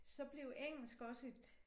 Så blev engelsk også et